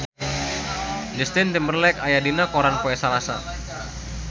Justin Timberlake aya dina koran poe Salasa